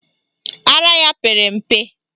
Ara ya pere mpe.